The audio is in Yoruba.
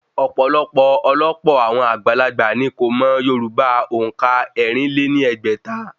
Ọ̀pọ̀lọpọ̀ ọ̀lọpọ̀ àwọn àgbàlagbà ní kò mọ yorùbá òǹkà ẹ̀rin lé ní ẹgbẹ́ta